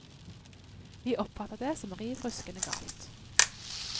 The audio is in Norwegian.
Vi oppfatter det som riv ruskende galt.